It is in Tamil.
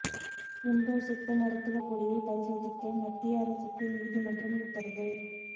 இம்ப்ரோ சித்த மருத்துவப் பொடியை பரிசோதிக்க மத்திய அரசுக்கு நீதிமன்றம் உத்தரவு